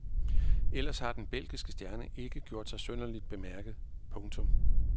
Ellers har den belgiske stjerne ikke gjort sig synderligt bemærket. punktum